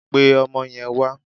Pe ọmọ yen wà!